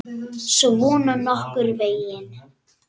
Svona nokkurn veginn.